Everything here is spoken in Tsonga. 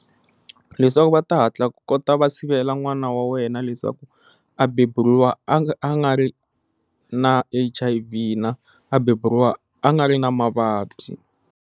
Leswaku va ta hatla ku kota va sivela n'wana wa wena leswaku a beburiwa a nga a nga ri na H_I_V na a beburiwa a nga ri na mavabyi.